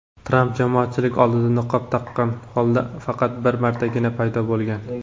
Tramp jamoatchilik oldida niqob taqqan holda faqat bir martagina paydo bo‘lgan.